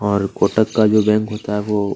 और कोटक का जो बैंक होता है वो --